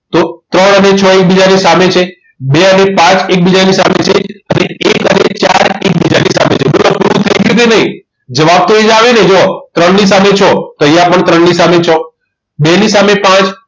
તો ત્રણ અને છ એ એકબીજાની સામે છે બે અને પાંચ એકબીજાની સામે છે ફરી એક અને ચાર એકબીજાની સામે છે બોલો હવે proof થઈ ગયું કે નહિ જવાબ તો એ જ આવીને જુઓ ત્રણની સામે છો તો અહીંયા પણ ત્રણની સામે છ બે ની સામે પાંચ